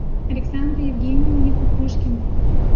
александре евгеньевне кукушкиной